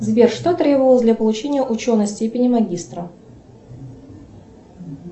сбер что требовалось для получения ученой степени магистра